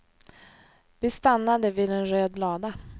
Vi stannade vid en röd lada.